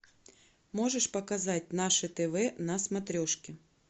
можешь показать наше тв на смотрешке